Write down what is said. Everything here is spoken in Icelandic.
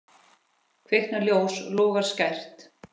Kviknar ljós, logar skært.